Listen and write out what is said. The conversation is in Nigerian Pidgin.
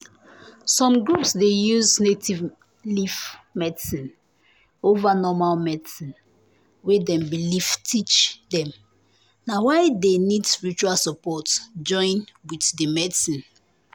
some groups dey use native leaf medicine over normal medicine wey dem belief teach dem na why dey need spiritual support join wit d medicine.